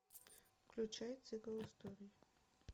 включай цикл историй